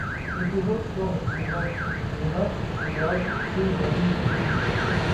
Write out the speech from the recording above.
эпизод сорок сезон двенадцать сериал все ненавидят криса